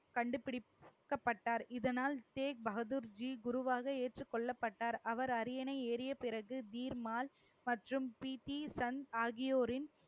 கண்டுபிடிக்கப்பட்டார். இதனால் ஷேக் பகதூர்ஜி குருவாக ஏற்றுக் கொள்ளப்பட்டார். அவர் அரியணை ஏறிய பிறகு பீர்மால் மற்றும் பி டி சன் ஆகியோரின்